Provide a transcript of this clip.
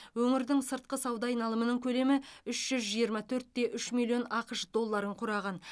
өңірдің сыртқы сауда айналымының көлемі үш жүз жиырма төрт те үш миллион ақш долларын құраған